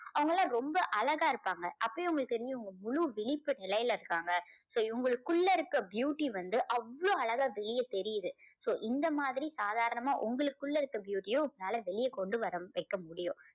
அவங்கயெல்லாம் ரொம்ப அழகா இருப்பாங்க. அப்பயும் உங்களுக்கு தெரியும் முழு விழிப்பு நிலையில இருக்காங்க. so இவங்களுக்கு உள்ள இருக்க beauty வந்து அவ்ளோ அழகா வெளியே தெரியுது. so இந்த மாதிரி சாதாரணமா உங்களுக்குள்ள இருக்க beauty யும் உங்களால வெளியே கொண்டு வர வைக்க முடியும்.